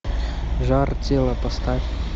жар тела поставь